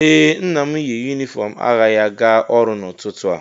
Ee, Nna m yi yunifọm agha ya gaa ọrụ n'ụtụtụ a